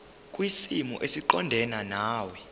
kwisimo esiqondena nawe